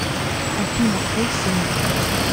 афина твой сын